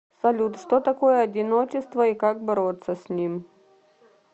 салют что такое одиночество и как бороться с ним